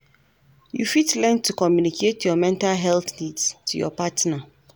You fit learn to communicate your mental health needs to your partner.